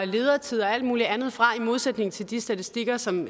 ledertid og alt muligt andet fra i modsætning til de statistikker som